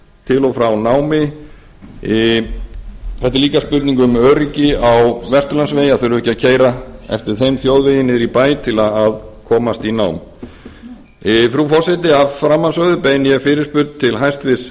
til og frá námi þetta er líka spurning um öryggi á vesturlandsvegi að þurfa ekki að keyra á þeim þjóðvegi niður í bæ til að komast í nám frú forseti að framansögðu beini ég fyrirspurn til hæstvirts